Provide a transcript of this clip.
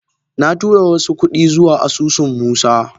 Na tura wasu kudi zuwa asusun musa